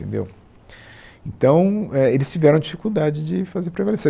Entendeu, então é, eles tiveram dificuldade de fazer prevalecer.